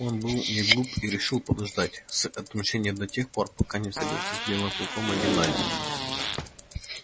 он был неглуп и решил подождать с отмщением до тех пор пока не встретится с белым клыком один на один